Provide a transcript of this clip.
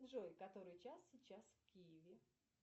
джой который час сейчас в киеве